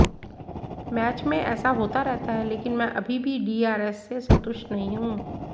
match में ऐसा होता रहता है लेकिन मैं अभी भी डीआरएस से संतुष्ट नहीं हूं